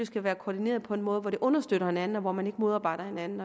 skal være koordineret på en måde hvor de understøtter hinanden og hvor man ikke modarbejder hinanden